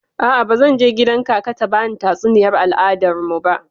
A'a, bazan je kgidan kaka ta bani tatsuniyar al'adar mu ba.